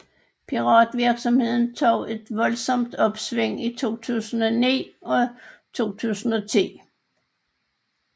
Piratvirksomheden tog et voldsomt opsving i 2009 og 2010